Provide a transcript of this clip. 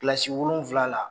Kilasi wolonwula la